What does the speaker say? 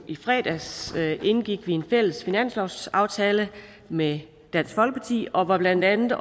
i fredags indgik en fælles finanslovsaftale med dansk folkeparti og blandt andet